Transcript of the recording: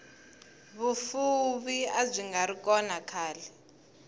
vufuvi abyingari kona khale